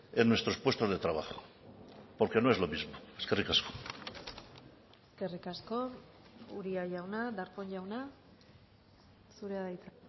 en nuestros puestos de trabajo porque no es lo mismo eskerrik asko eskerrik asko uria jauna darpón jauna zurea da hitza